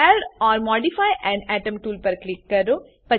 add or modify an atom tool પર click કરો